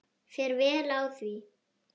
Fer vel á því.